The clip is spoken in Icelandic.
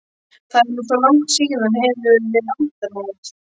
Það er nú svo langt síðan hefur verið ættarmót.